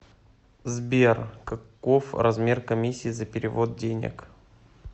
сбер каков размер комиссии за перевод денег